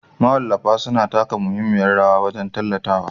Mawallafa suna taka muhimmiyar rawa wajen tallatawa